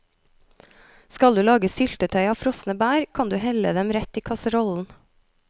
Skal du lage syltetøy av frosne bær, kan du helle dem rett i kasserollen.